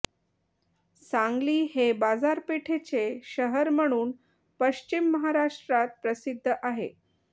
सांगली हे बाजारपेठेचे शहर म्हणून पश्चिम महाराष्ट्रात प्रसिध्द आहे